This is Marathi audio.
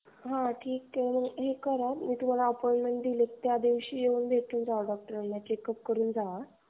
हां ठीक आहे मग हे करा तुम्हाला अपॉईण्टमेन्ट दिले त्या दिवशी या डॉक्टरला भेटून जावा.